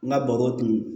N ka bɔgɔ tun